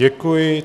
Děkuji.